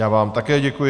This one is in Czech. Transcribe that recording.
Já vám také děkuji.